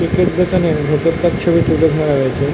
Cake -এর দোকানের ভিতরটার ছবি তুলে ধরা হয়েছে।